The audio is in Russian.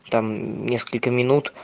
там несколько минут